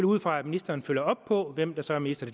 ud fra at ministeren følger op på hvem der så er minister